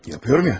Görürəm ya.